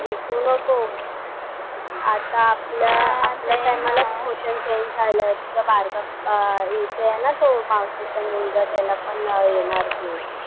विकू नको. आता आपल्या आपल्या टायमाला पोर्शन चेंज झालाय. तुझा बारका येतोय ना तो मावशीचा मुलगा त्याला पण येणार की.